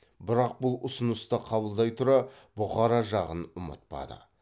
бірақ бұл ұсынысты қабылдай тұра бұқара жағын ұмытпады